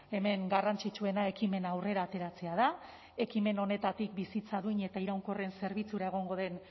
hemen garrantzitsuena ekimena aurrera ateratzea da ekimen honetatik bizitza duin eta iraunkorren zerbitzura egongo den